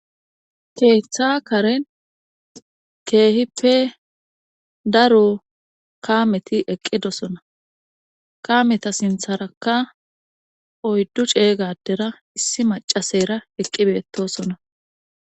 Keeththakaren keehippe daro kaameti eqqidosona kameta sintharakka oyddu ceeygadera issi macasera eqqibeetosona.